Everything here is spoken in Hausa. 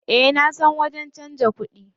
Eh nasan wajen canza kuɗi.